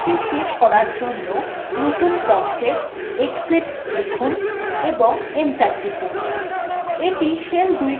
shell ২কে শেষ করার জন্য নতুন promptএ exit লিখুন এবং enter টিপুন